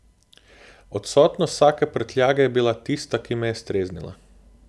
Odsotnost vsake prtljage je bila tista, ki me je streznila.